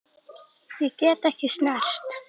Ég get ekki snert.